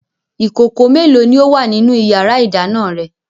Ìkòkò mélòó ni ó wà nínú ìyàrá-ìdáná rẹ?